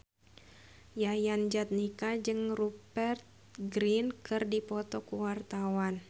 Yayan Jatnika jeung Rupert Grin keur dipoto ku wartawan